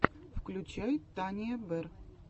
включай тания берр